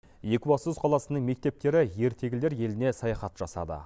екібастұз қаласының мектептері ертегілер еліне саяхат жасады